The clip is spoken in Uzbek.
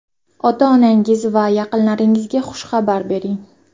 Ota-onangiz va yaqinlaringizga xushxabar bering.